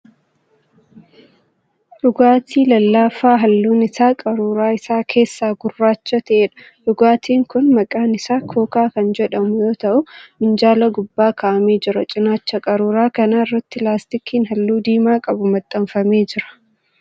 Dhugaatii lallaafaa halluun isaa qaruuraa isaa keessaa gurraacha ta'eedha. Dhugaatiin kun maqaan isaa 'Kookaa' kan jedhamu yoo ta'u minjaala gubbaa ka'amee jira. Cinaacha qaruuraa kanaa irratti laastikiin halluu diimaa qabu maxxanfamee jira.